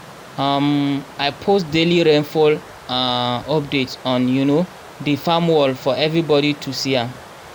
um i post daily rainfall um updates on um di farm wall for everybodi to see am